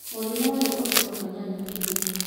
Mũrimũ ũyũ ũtũmaga nyanya ĩhĩe